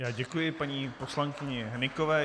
Já děkuji paní poslankyni Hnykové.